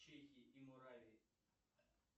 чехии и муравии